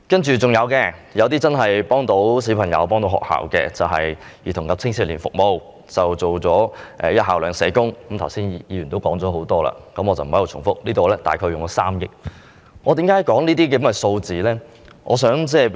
還有其他有助小朋友和學校的措施，在"兒童及青少年服務"部分提出實行"一校兩社工"——剛才已有議員就此發言，我不在此重複——相關開支約3億元。